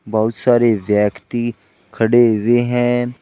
बहुत सारे व्यक्ति खड़े हुए हैं।